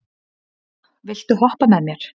Matthea, viltu hoppa með mér?